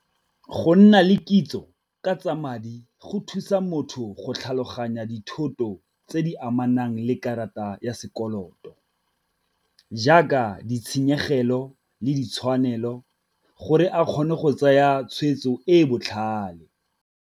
Go nna le kitso ka tsa madi go thusa motho go tlhaloganya dithoto tse di amanang le karata ya sekoloto, jaaka ditshenyegelo le ditshwanelo gore a kgone go tsaya tshweetso e e botlhale.